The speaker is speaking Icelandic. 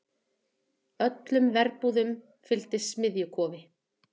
Öllum verbúðum fylgdi smiðjukofi.